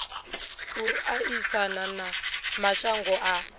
u aisana na mashango a